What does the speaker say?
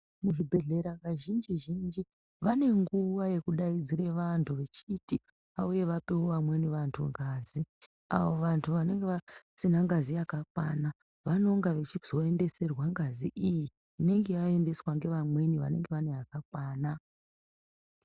Muzvibhehlera kazhinji zhinji vane nguva yekudaidzira vantu vachiti vauye vapewo vamwe vantu ngazi avo vantu vanenge vasina ngazi yakakwana vanonga vachizoendeserwa ngazi iyi inenge yaendeswa nevanenge vaine yakakwana .